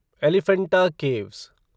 Elephanta caves